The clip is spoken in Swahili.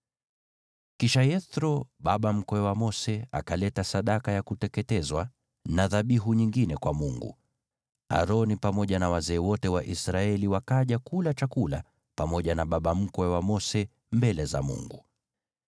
Kisha Yethro, baba mkwe wa Mose, akaleta sadaka ya kuteketezwa na dhabihu nyingine kwa Mungu, naye Aroni pamoja na wazee wote wa Israeli wakaja kula chakula pamoja na baba mkwe wa Mose mbele za Mungu.